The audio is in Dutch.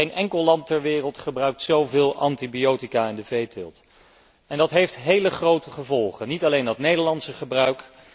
Geen enkel land ter wereld gebruikt zó veel antibiotica in de veeteelt als Nederland. Dat heeft heel grote gevolgen, niet alleen dat Nederlandse gebruik